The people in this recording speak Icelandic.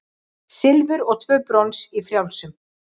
Silfur og tvö brons í frjálsum